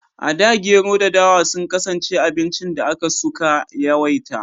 A da Gero da dawa sun kasance abincin da aka su ka yawaita